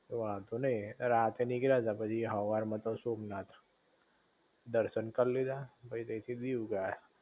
વાંધો નઇ, એ રાતે નીકળતા પછી હવાર માં તો સોમનાથ દર્શન કરી લીધા પછી તય થી દીવ ગયા